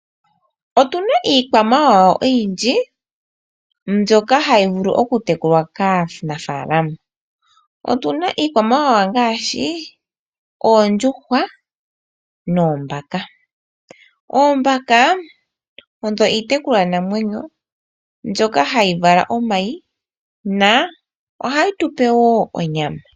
Otu na iikwamawawa oyindji mbyoka hayi vulu okutekulwa kaanafalama. Otu na iikwamawawa ngaashi oondjuhwa noombaka. Oombaka odho iitekulwanamwenyo namwenyo mbyoka hayi vala omayi, na ohayi tu pe wo onyama.